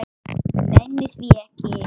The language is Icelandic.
Nenni því ekki